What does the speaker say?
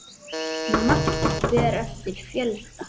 Magn fer eftir fjölda.